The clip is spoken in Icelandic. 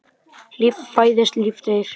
Líf fæðist, líf deyr.